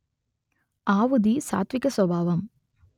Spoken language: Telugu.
ఆవుది సాత్త్విక స్వభావం